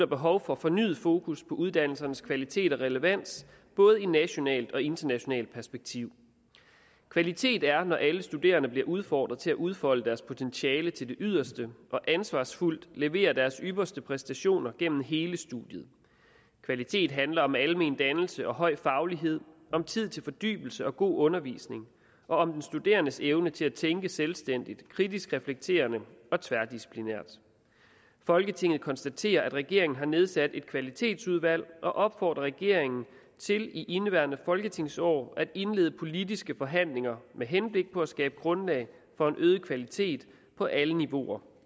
behov for fornyet fokus på uddannelsernes kvalitet og relevans både i nationalt og internationalt perspektiv kvalitet er når alle studerende bliver udfordret til at udfolde deres potentiale til det yderste og ansvarsfuldt leverer deres ypperste præstationer gennem hele studiet kvalitet handler om almen dannelse og høj faglighed om tid til fordybelse og god undervisning og om den studerendes evne til at tænke selvstændigt kritisk reflekterende og tværdisciplinært folketinget konstaterer at regeringen har nedsat et kvalitetsudvalg og opfordrer regeringen til i indeværende folketingsår at indlede politiske forhandlinger med henblik på at skabe grundlag for en øget kvalitet på alle niveauer